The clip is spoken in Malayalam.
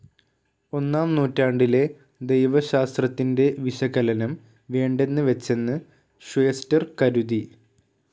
ഒന്നാം നൂറ്റാണ്ടിലെ ദൈവശാസ്ത്രത്തിൻ്റെ വിശകലനം വേണ്ടെന്ന് വച്ചെന്ന് ഷ്വേസ്റ്റർ കരുതി.